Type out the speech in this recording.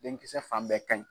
Denkisɛ fan bɛɛ kan ɲi